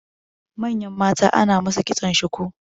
manyan mata ana musu kitson shuku